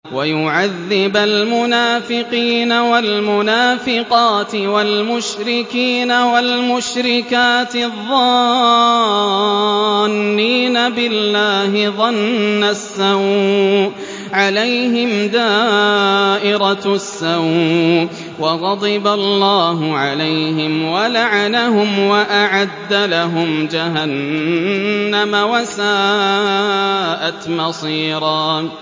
وَيُعَذِّبَ الْمُنَافِقِينَ وَالْمُنَافِقَاتِ وَالْمُشْرِكِينَ وَالْمُشْرِكَاتِ الظَّانِّينَ بِاللَّهِ ظَنَّ السَّوْءِ ۚ عَلَيْهِمْ دَائِرَةُ السَّوْءِ ۖ وَغَضِبَ اللَّهُ عَلَيْهِمْ وَلَعَنَهُمْ وَأَعَدَّ لَهُمْ جَهَنَّمَ ۖ وَسَاءَتْ مَصِيرًا